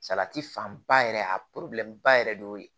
Salati fanba yɛrɛ a ba yɛrɛ de y'o ye